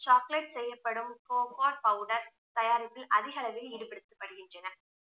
chocolate செய்யப்படும் powder தயாரிப்பில் அதிக அளவில் ஈடுபடுத்தப்படுகின்றனர்